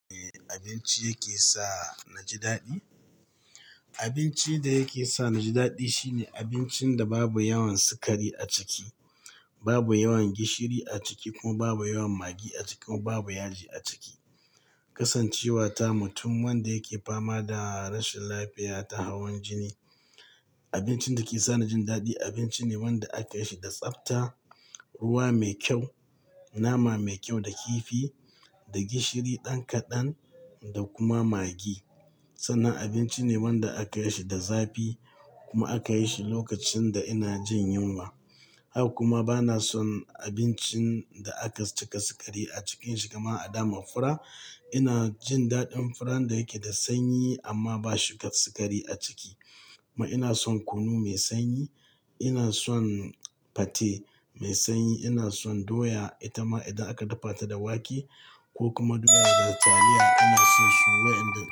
Abinci yake sa na ji daɗi. Abinci da yake sa na ji daɗi shine abincin da babu yawan sukari a ciki, babu yawan gishiri a ciki kuma babu yawan maggi a ciki kuma babu yaji a ciki. Kasancewata mutum wanda yake fama da rashin lafiya ta hawan jini, abincin da ke sa na jin daɗi, abinci ne wanda aka yi shi da tsafta, ruwa mai kyau, nama mai kyau da kifi da gishiri ɗan kaɗan da kuma maggi. Sannan abinci ne wanda aka yi shi da zafi kuma aka yi shi lokacin da ina jin yunwa. Haka kuma bana son abincin da aka cika sukari a cikinshi kamar a dama fura. Ina jin daɗin furan da yake da sanyi amma ba shukar sukari a ciki. Kuma ina son kunu mai sanyi, ina son fate mai sanyi, ina son doya itama idan aka dafa ta da wake ko kuma doya da taliya. Ina son su wayanda.